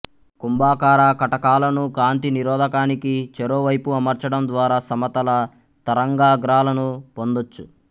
కుంభాకార కటకాలను కాంతి నిరోధకానికి చెరోవైపు అమర్చడం ద్వారా సమతల తరంగాగ్రాలను పొందొచ్చు